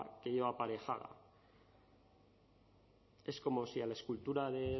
que lleva aparejada es como si a la escultura de